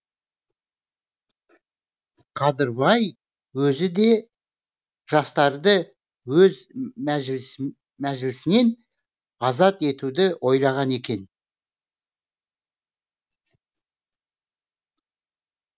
қадырбай өзі де жастарды өз мәжілісінен азат етуді ойлаған екен